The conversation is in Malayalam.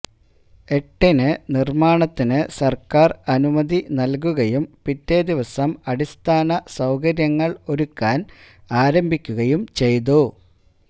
എട്ടിന് നിര്മാണത്തിനു സര്ക്കാര് അനുമതി നല്കുകയും പിറ്റേദിവസം അടിസ്ഥാന സൌകര്യങ്ങള് ഒരുക്കാന് ആരംഭിക്കുകയും ചെയ്തു